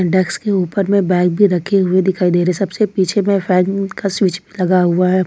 Desk के ऊपर में बैग भी रखे हुए दिखाई दे रहे सबसे पीछे में फैन का स्विच लगा हुआ है।